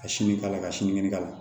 Ka sini k'a la ka sinikɛnɛ k'a la